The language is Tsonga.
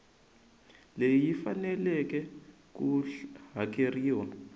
leyi yi faneleke ku hakeriwa